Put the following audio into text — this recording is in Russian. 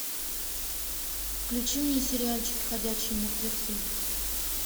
включи мне сериальчик ходячие мертвецы